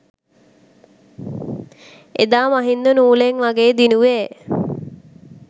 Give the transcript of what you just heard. එදා මහින්ද නූලෙන් වගේ දිනුවේ